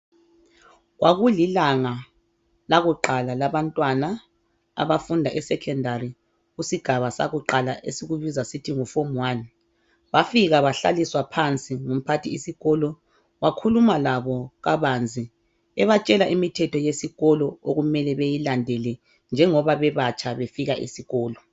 Kwakulilanga lakuqala labantwana abafunda esecondary kusigaba sakuqala esikubiza sithi nguform1 bafika bahlaliswa phansi ngumphathisikolo wakhuluma labo kabanzi ebatshela imithetho yesikolo okumele beyilandele njengoba bebatsha befika esikolo.